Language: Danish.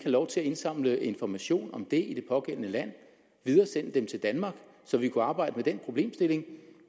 lov til at indsamle informationer om det i det pågældende land og videresende dem til danmark så vi kunne arbejde med den problemstilling